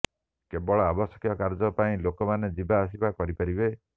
କେବଳ ଆବଶ୍ୟକ କାର୍ଯ୍ୟ ପାଇଁ ଲୋକମାନେ ଯିବା ଆସିବା କରିପାରିବେ